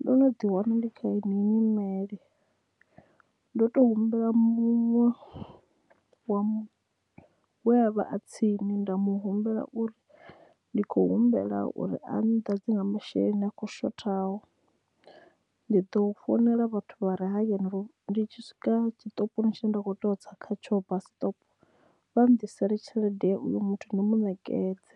Ndo no ḓi wana ndi kha heyi nyimele ndo to humbela muṅwe wa we a vha a tsini nda mu humbela uri ndi kho humbela uri a nnḓadze nga masheleni a khou shothaho ndi ḓo founela vhathu vha re hayani ndi tshi swika tshiṱopini tshine nda kho to tsa kha tsho bus stop vha nḓi sele tshelede uyo muthu nda mu nekedze